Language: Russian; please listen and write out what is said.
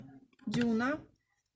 дюна